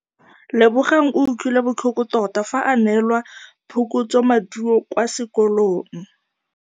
Lebogang o utlwile botlhoko tota fa a neelwa phokotsômaduô kwa sekolong.